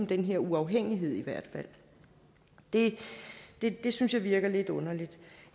den her uafhængighed det det synes jeg virker lidt underligt